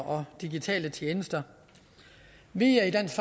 og digitale tjenester vi er i dansk